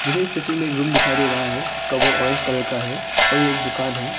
मुझे इस तस्वीर में एक रूम दिखाई दे रहा है जिसका वॉल ऑरेंज कलर का है और यह एक दुकान है।